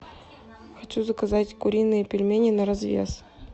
хочу заказать куриные пельмени на развес